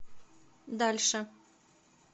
дальше